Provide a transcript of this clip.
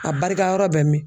A barikayɔrɔ bɛ min